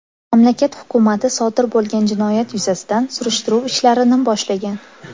Mamlakat hukumati sodir bo‘lgan jinoyat yuzasidan surishtiruv ishlarini boshlagan.